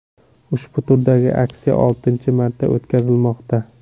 Ushbu turdagi aksiya oltinchi marta o‘tkazilmoqda.